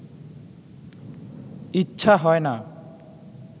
ইচ্ছা হয় না